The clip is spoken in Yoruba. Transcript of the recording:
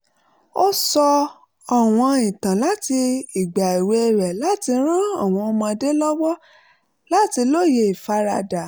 ó sọ àwọn ìtàn láti ìgbà èwe rẹ̀ láti ran àwọn ọmọdé lọ́wọ́ láti lóye ìfaradà